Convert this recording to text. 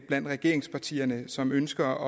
blandt regeringspartierne som ønsker